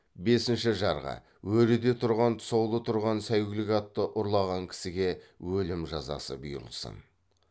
бесінші жарғы өреде тұрған тұсаулы тұрған сәйгүлік атты ұрлаған кісіге өлім жазасы бұйырылсын